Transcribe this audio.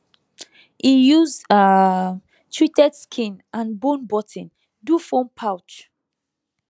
e use um treated skin and bone button do phone pouch